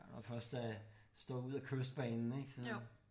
Når først er stået ud af Kystbanen ik så